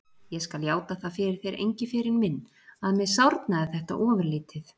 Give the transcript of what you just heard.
Ég skal játa það fyrir þér, Engiferinn minn, að mér sárnaði þetta ofurlítið.